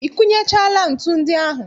I kunechaala ntu ndị ahụ?